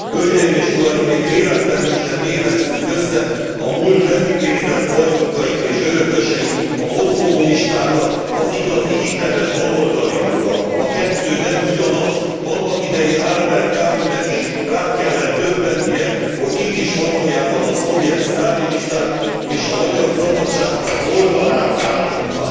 Hölgyeim és uraim! Még véletlenül se tévesszük össze a múlt levitézlett bajnokait és örököseit, a posztkommunistákat az igazi hiteles baloldaliakkal. A kettő nem ugyanaz! Annak idején Albert Camus nek is rá kellett döbbennie, hogy kik is valójában a szovjet sztálinisták és a magyar szabadságharc oldalára állottak.